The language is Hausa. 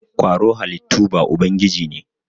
kwaro halittu ba ubangiji ne.